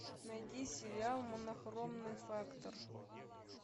найди сериал монохромный фактор